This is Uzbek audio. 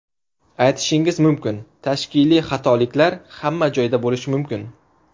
Aytishingiz mumkin, tashkiliy xatoliklar hamma joyda bo‘lishi mumkin.